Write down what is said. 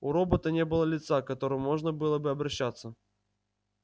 у робота не было лица к которому можно было бы обращаться